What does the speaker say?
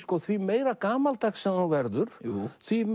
því meira gamaldags sem þú verður því